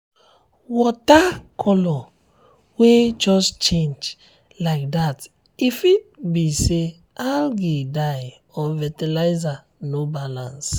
water color wen just change um like that um e fit um be say algae die or fertilizer no balance